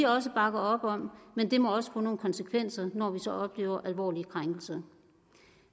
også bakker op om men det må også få nogle konsekvenser når vi så oplever alvorlige krænkelser